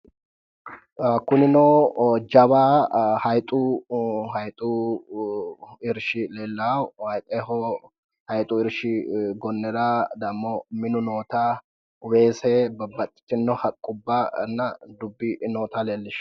Kunino jawa haayiixu haayiixu irshshi leellawo haayiixu irshi gonnera dammo minu noota weese babbaxxitino haqqubbanna dubbi noota leellishshanno.